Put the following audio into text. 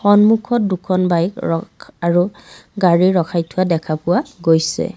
সন্মুখত দুখন বাইক ৰখ আৰু গাড়ী ৰখাই থোৱা দেখা পোৱা গৈছে।